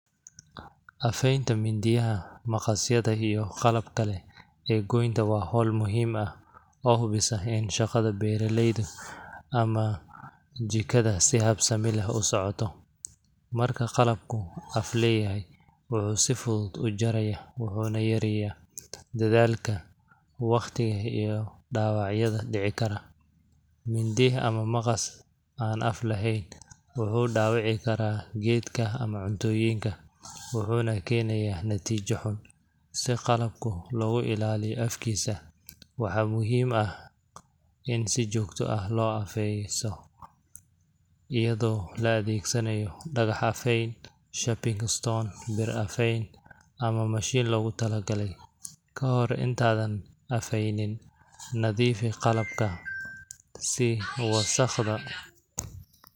Aafeynta mindiyaha, maqasyada iyo qalab kalee ee goynta waa howl muhiim aah oo hubiis aheyn shaqada beraleyda ama jikadaa si habsamii leh usocoto marka qalabkuu af leyahay wuxu si fudud uu jaraya wuxuna yareya dadalka, waqtiga iyo dawacyada dici karan mindi ama maqas aan aaf lahayn wuxu dawici kara gedka ama cuntoyinka wuxuna kenaya natijo xun si qalabku logu ilaliyo afkiisa waxa muhim aah iin si jogto aah lo afeeyso iyado la adegsanayo dagax afeyn shaping stone bir afeyn ama machine loguu tala galey kahor intaadan afeyn nadifii qalabkaa si wasaqhda